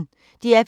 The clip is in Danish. DR P1